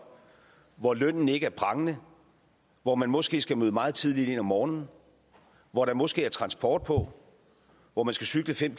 hvor lønnen ikke er prangende hvor man måske skal møde meget tidligt ind om morgenen hvor der måske er transporttid hvor man skal cykle fem